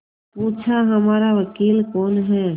पूछाहमारा वकील कौन है